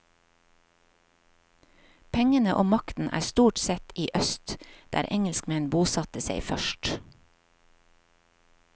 Pengene og makten er stort sett i øst, der engelskmenn bosatte seg først.